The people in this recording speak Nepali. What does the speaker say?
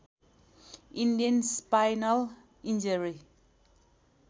Indian spinal injury